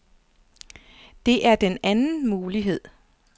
Det er den anden mulighed.